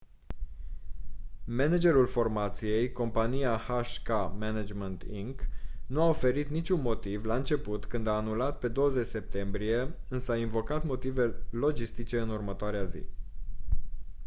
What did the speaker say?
managerul formației compania hk management inc nu a oferit niciun motiv la început când a anulat pe 20 septembrie însă a invocat motive logistice în următoarea zi